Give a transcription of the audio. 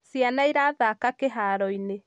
ciana irathaka kĩharo-inĩ